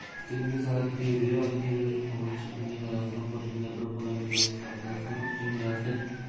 естеріңізге сала кетейік рио олимпиадасының тоғызыншы күнінде қазақстан қоржынына бір қола медаль түсті қазақстандық жеңіл атлет